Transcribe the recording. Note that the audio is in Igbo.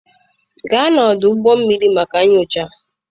Gaa n'ọdụ ụgbọ mmiri maka nyocha.